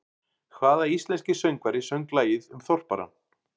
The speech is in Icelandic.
Hvaða íslenski söngvari söng lagið um Þorparann?